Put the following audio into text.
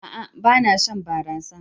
A'a! Ba na shan barasa.